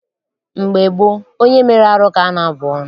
Mgbe gboo, onye mere arụ ka a na-abụ ọnụ.